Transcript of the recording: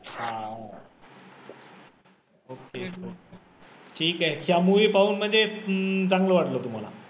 हा ठिके ह्या movie पाहूनमध्ये चांगलं वाटलं तुम्हाला